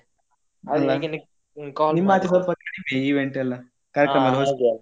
ಅಲ್ಲ ನಿಮ್ಮಾಚೆ ಸ್ವಲ್ಪ ಕಡಿಮೆ event ಎಲ್ಲ ಕಾರ್ಯಕ್ರಮ .